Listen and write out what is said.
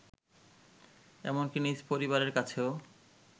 এমনকি নিজ পরিবারের কাছেও